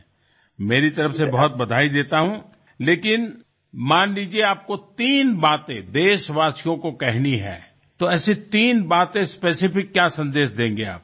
મારી તરફથી ઘણા અભિનંદન આપું છું પરંતુ માનો કે તમારે ત્રણ વાતો દેશવાસીઓને કહેવાની છે તો એવી કઈ ત્રણ વાતો ચોક્કસ શું સંદેશ આપવા માગશો તમે